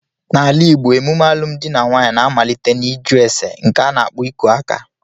N'ala igbo, emume alụmdi na nwunye na-amalite n'iju ésè nke a n'akpo iku aka